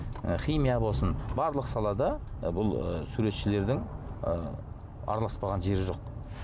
ы химия болсын барлық салада ы бұл ы суретшілердің ы араласпаған жері жоқ